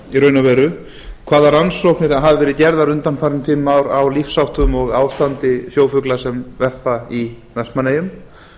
raun og veru hvaða rannsóknir hafa verið gerðar undanfarin fimm ár á ástandi og lífsháttum sjófugla sem verpa í vestmannaeyjum